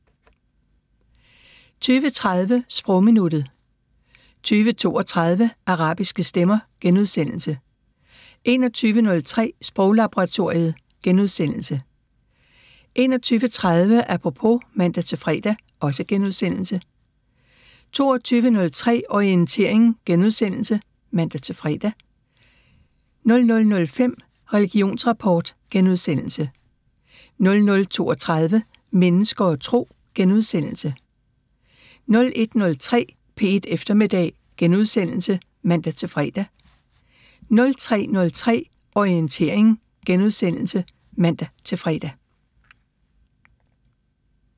20:30: Sprogminuttet 20:32: Arabiske stemmer * 21:03: Sproglaboratoriet * 21:30: Apropos *(man-fre) 22:03: Orientering *(man-fre) 00:05: Religionsrapport * 00:32: Mennesker og Tro * 01:03: P1 Eftermiddag *(man-fre) 03:03: Orientering *(man-fre)